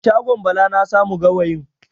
A shagon Bala na samu gawayin.